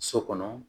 So kɔnɔ